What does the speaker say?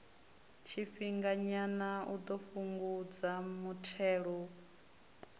tshifhinganyana u ḓo fhungudza muthelogu